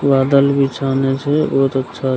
बादल भी छानने छै बहुत अच्छा --